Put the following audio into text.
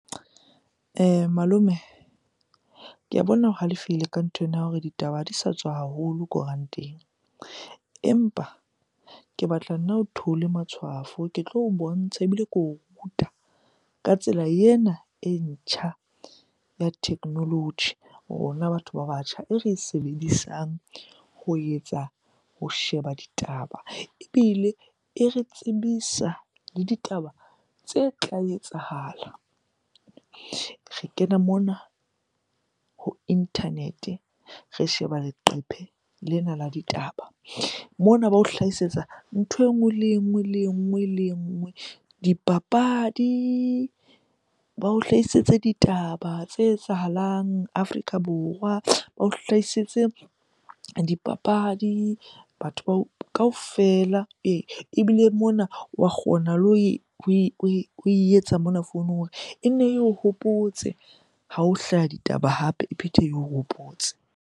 Malome, ka bona o halefile ka nthwena ya hore ditaba ha di sa tswa haholo koranteng. Empa ke batla nna o theolle matshwafo, ke tlo o bontsha ebile ke o ruta ka tsela ena e ntjha ya technology rona batho ba batjha e re e sebedisang ho etsa, ho sheba ditaba ebile e re tsebisa le ditaba tse tla etsahala. Re kena mona ho internet-e, re sheba leqephe lena la ditaba. Mona bao hlahisetsa ntho e nngwe, le e nngwe, le e nngwe le e nngwe. Dipapadi, bao hlaisetse ditaba tse etsahalang Afrika Borwa, bao hlaisetse dipapadi bao kaofela ee. Ebile mona wa kgona le ho e etsa mona founung hore e nne eo hopotse, ha ho hlaha ditaba hape e phethe eo hopotse.